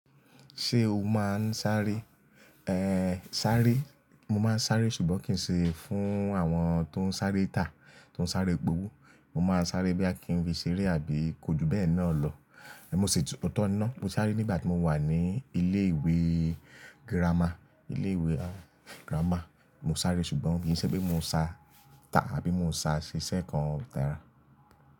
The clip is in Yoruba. Ṣé o máa ń sáré? Ehn, sáré, mo máa ń sáré ṣùgbọ́n kì ṣe fún àwọn tó ń sáré tà, tó ń sáré gbówó. Mo máa ń sáré boya bí kì í fi ṣeré àbí ko ju bẹ́ẹ̀ náà lọ. Mo sì tun- ootọ̀ ni ná. Mo sáré nígbà tí mo wà ní ilé ìwé girama, ilé ìwé girama. Mo sáré ṣùgbọ́n kì í ṣe pé mo ń sá tàbí mo ń sá ṣiṣẹ́ kan tàrá.